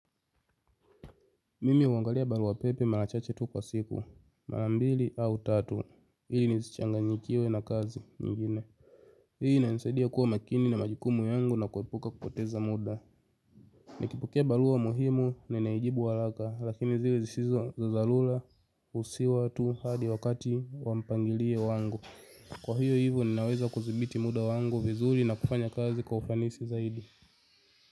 Mimi huangalia barua pepe mara chache tu kwa siku, mara mbili au tatu, hili nisichanganyikiwe na kazi nyingine. Hii inanisaidia kuwa makini na majikumu yangu na kuepuka kupoteza muda. Nikipokea barua muhimu ninaijibu halaka, lakini zile zisizo za dharura usihi watu hadi wakati wa mpangilio wangu. Kwa hiyo hivyo ninaweza kuzibiti muda wangu vizuri na kufanya kazi kwa ufanisi zaidi.